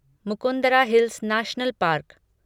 Mukundra hills national park